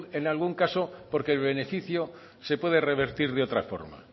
en algún caso porque el beneficio se puede revertir de otra forma